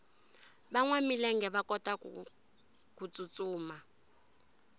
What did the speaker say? vanwa milenge va kotaku tsutsuma